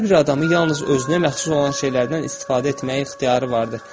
Hər bir adamın yalnız özünə məxsus olan şeylərdən istifadə etməyə ixtiyarı vardır.